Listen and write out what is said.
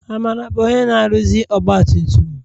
Amara bụ onye na-aruzi ọgbatumtum.